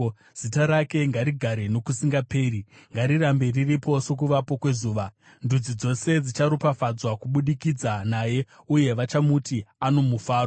Zita rake ngarigare nokusingaperi; ngarirambe riripo sokuvapo kwezuva. Ndudzi dzose dzicharopafadzwa kubudikidza naye, uye vachamuti, ano mufaro.